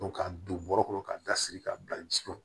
ka don bɔrɔ kɔnɔ ka da siri k'a bila ji kɔnɔ